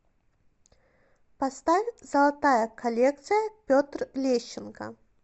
поставь золотая коллекция петр лещенко